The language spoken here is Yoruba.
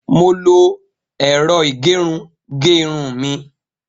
Mo lo ẹ̀rọ ìgẹrun ge irun mi.